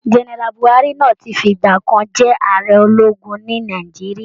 Gẹ́nẹ́rà Bùhári náà ti fi ìgbà kan jẹ́ ààrẹ ológun ní Nàìjíríà